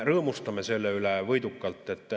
Rõõmustame selle üle võidukalt.